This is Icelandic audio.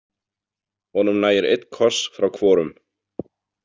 Honum nægir einn koss frá hvorum.